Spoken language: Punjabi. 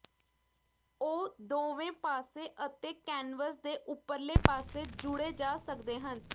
ਉਹ ਦੋਵੇਂ ਪਾਸੇ ਅਤੇ ਕੈਨਵਸ ਦੇ ਉਪਰਲੇ ਪਾਸੇ ਜੁੜੇ ਜਾ ਸਕਦੇ ਹਨ